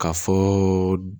Ka fɔ